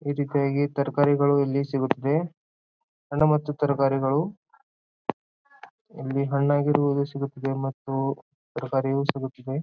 ಇದಕರಿಗೆ ತರಕಾರಿಗಳು ಇಲ್ಲಿ ಸಿಗುತ್ತದೆ ಹಣ್ಣು ಮತ್ತು ತರಕಾರಿಗಳು ಇಲ್ಲಿ ಹಣ್ಣಾಗಿರುವುದು ಸಿಗುತ್ತದೆ ಮತ್ತು ತರಕಾರಿಯು ಸಿಗುತ್ತದೆ.